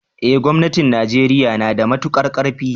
eh gomnatin Najeriya nada matuƙar karfi.